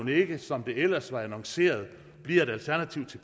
ikke som det ellers var annonceret bliver et alternativ til